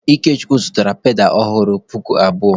Ikechukwu zụtara pedalụ ọhụrụ puku abụọ.